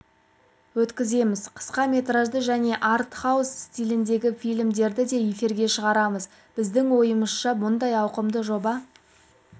өткіземіз қысқа метражды және арт-хаус стиліндегі фильмдерді де эфирге шығарамыз біздің ойымызша мұндай ауқымды жоба